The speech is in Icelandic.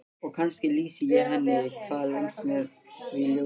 Og kannski lýsi ég henni hvað lengst með því ljósi.